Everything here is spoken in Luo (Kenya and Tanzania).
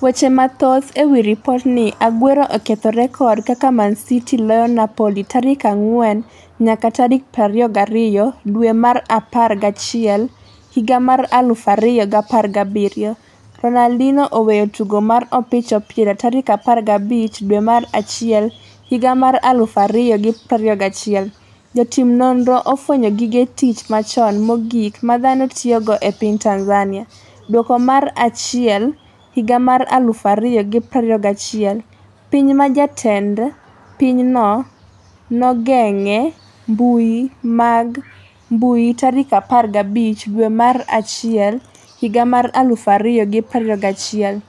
Weche mathoth ewi lipotni Aguero oketho rekod kaka ManCity loyo Napoli tarik 4 nyaka 22 dwe mar apar gi achiel higa mar 2017 Ronadinho oweyo tugo mar opich opira 15 dwe mar achiel higa mar 2021 Jotim nonro ofwenyo gige tich machon mogik ma dhano tiyogo e piny Tanzania Duoko mar achiel 2021 Piny ma jatend pinyno nogeng'e mbui mag mbui15 dwe mar achiel 2021